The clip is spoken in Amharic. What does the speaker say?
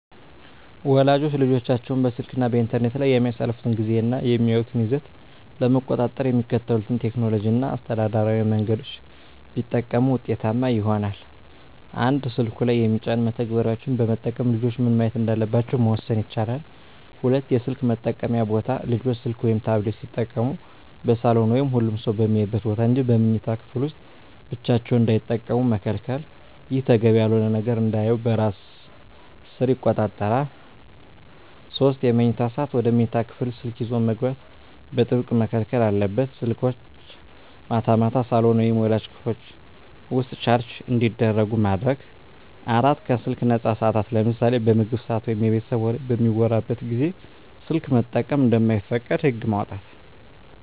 ወላጆች ልጆቻቸው በስልክ እና በኢንተርኔት ላይ የሚያሳልፉትን ጊዜ እና የሚያዩትን ይዘት ለመቆጣጠር የሚከተሉትን ቴክኖሎጂያዊ እና አስተዳደራዊ መንገዶች ቢጠቀሙ ውጤታማ ይሆናል፦ 1)ስልኩ ላይ የሚጫኑ መተግበሪያዎችን በመጠቀም ልጆች ምን ማየት እንዳለባቸው መወሰን ይቻላል። 2)የስልክ መጠቀምያ ቦታ: ልጆች ስልክ ወይም ታብሌት ሲጠቀሙ በሳሎን ወይም ሁሉም ሰው በሚያይበት ቦታ እንጂ በመኝታ ክፍል ውስጥ ብቻቸውን እንዳይጠቀሙ መከልከል። ይህ ተገቢ ያልሆነ ነገር እንዳያዩ በራስ ሰር ይቆጣጠራል። 3)የመኝታ ሰዓት: ወደ መኝታ ክፍል ስልክ ይዞ መግባት በጥብቅ መከልከል አለበት። ስልኮች ማታ ማታ ሳሎን ወይም ወላጆች ክፍል ውስጥ ቻርጅ እንዲደረጉ ማድረግ። 4)ከስልክ ነፃ ሰዓታት: ለምሳሌ በምግብ ሰዓት ወይም የቤተሰብ ወሬ በሚወራበት ጊዜ ስልክ መጠቀም እንደማይፈቀድ ህግ ማውጣት።